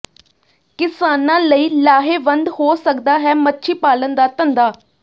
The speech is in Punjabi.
ਕਿਸਾਨਾਂ ਲਈ ਲਾਹੇਵੰਦ ਹੋ ਸਕਦਾ ਹੈ ਮੱਛੀ ਪਾਲਣ ਦਾ ਧੰਦਾ